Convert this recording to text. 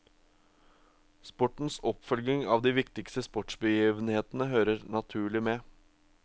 Sportens oppfølging av de viktigste sportsbegivenheter hører naturlig med.